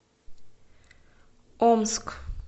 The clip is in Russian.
омск